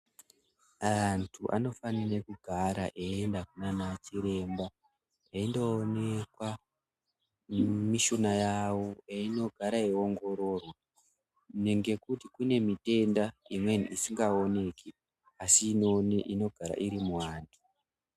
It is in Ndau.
Antu anofanire kugara eienda kunanachiremba eindoonekwa mushuna yawo, eindogara eiwongororwa kuninge kuti kuti kuune mitenda imweni isingaoneki asi inogara irimuantu.